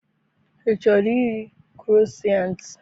I chọrọ iri kroissant?